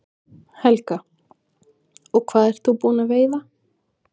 Helga: Og hvað ert þú búin að veiða?